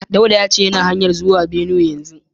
Dauda ya ce yana hanya zuwa jihar Benue yanzu.